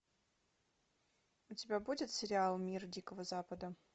у тебя будет сериал мир дикого запада